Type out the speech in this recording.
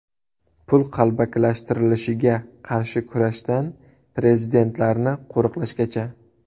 Pul qalbakilashtirilishiga qarshi kurashdan prezidentlarni qo‘riqlashgacha.